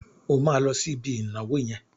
O máa lọ sí ibi ìnáwó yẹn.